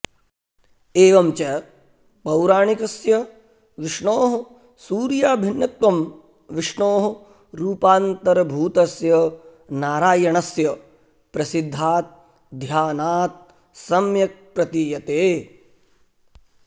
एवं च पौराणिकस्य विष्णोः सूर्याभिन्नत्वं विष्णोः रूपान्तरभूतस्य नारायणस्य प्रसिद्धात् ध्यानात् सम्यक् प्रतीयते